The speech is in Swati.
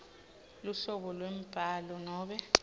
luhlobo lwembhalo nobe